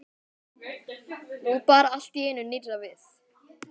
Nú bar allt í einu nýrra við.